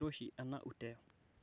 kiroshi ena uteo